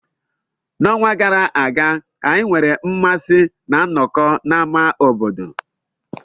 N'ọnwa gara aga, anyị nwere mmasị ná nnọkọ n'ámá obodo.